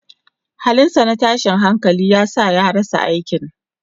Halinsa na tashin hankali ya sa ya rasa aikin.